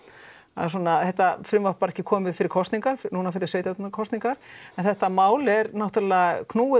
að þetta frumvarp var ekki komið fyrir kosningar núna fyrir sveitastjórnarkosningar en þetta mál er náttúrulega knúið